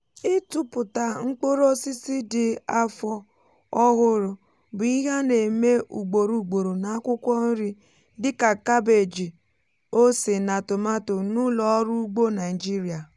ịtụpụta mkpụrụ osisi dị afọ ọhụrụ bụ ihe a na-eme ugboro ugboro na akwukwo nri dị ka kabeeji ose na tomaato n’ụlọ ọrụ ugbo naịjirịa.